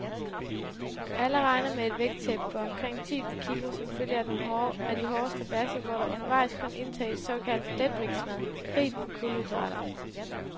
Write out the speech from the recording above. Alle regner med et vægttab på omkring ti kilo som følge af de hårde strabadser, hvor der undervejs kun indtages såkaldt letvægtsmad rigt på kulhydrater.